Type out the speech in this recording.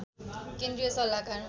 केन्द्रीय सल्लाहकार